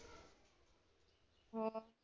ਹੋ।